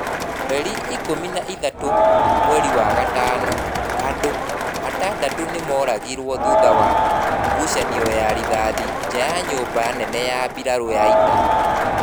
Mweri ikũmi na ĩtatũ mweri wa gatano- Andũ atandatũ nĩ mooragirũo thutha wa gũciani ya rithathe nja ya nyũmba nene ya mbirarū ya ita.